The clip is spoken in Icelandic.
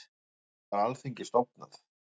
Af hverju var Alþingi stofnað?